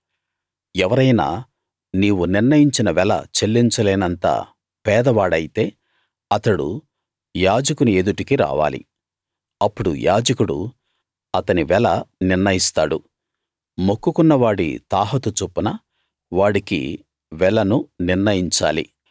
ఎవరైనా నీవు నిర్ణయించిన వెల చెల్లించలేనంత పేద వాడైతే అతడు యాజకుని ఎదుటికి రావాలి అప్పుడు యాజకుడు అతని వెల నిర్ణయిస్తాడు మొక్కుకున్న వాడి తాహతు చొప్పున వాడికి వెలను నిర్ణయించాలి